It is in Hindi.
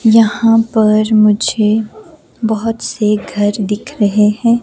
यहां पर मुझे बहुत से घर दिख रहे हैं।